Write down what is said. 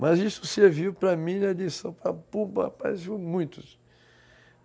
Mas isso serviu para mim e a lição muitos.